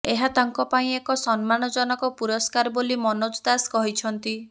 ଏହା ତାଙ୍କ ପାଇଁ ଏକ ସମ୍ମାନଜନକ ପୁରସ୍କାର ବୋଲି ମନୋଜ ଦାସ କହିଛନ୍ତି